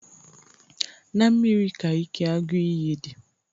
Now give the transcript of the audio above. Na mmiri ka ike agụ iyi dị.